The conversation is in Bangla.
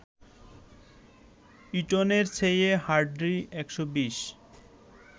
ইটনের চেয়ে হার্ডি ১২০